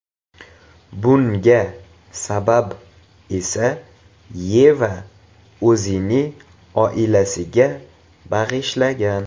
Bunga sabab esa Yeva o‘zini oilasiga bag‘ishlagan.